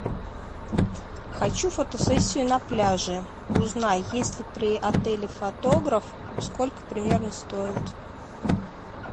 хочу фотосессию на пляже узнай есть ли при отеле фотограф сколько примерно стоит